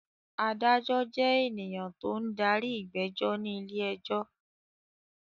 Adájọ́ jẹ́ ènìyàn tó ń darí ìgbẹ́jọ́ ní ilé-ẹjọ́.